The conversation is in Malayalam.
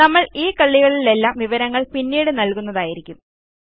നമ്മൾ ഈ കള്ളികളിലേയ്ക്കെല്ലാം വിവരങ്ങൾ പിന്നീട് നൽകുന്നതായിരിക്കും